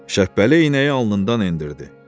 Şəhbəli iynəyi alnından endirdi.